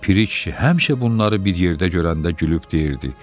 Piri kişi həmişə bunları bir yerdə görəndə gülüb deyirdi: